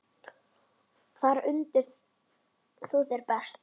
Þar undir þú þér best.